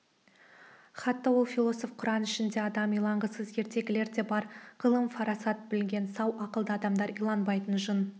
хатта ол философ құран ішінде адам иланғысыз ертегілер де бар ғылым фарасат білген сау ақылды адамдар иланбайтын жын